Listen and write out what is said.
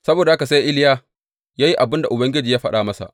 Saboda haka sai Iliya ya yi abin da Ubangiji ya faɗa masa.